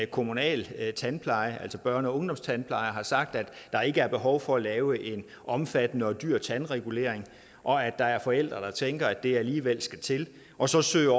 kommunal børne og ungdomstandpleje har sagt at der ikke er behov for at lave en omfattende og dyr tandregulering og at der er forældre der tænker at det alligevel skal til og så søger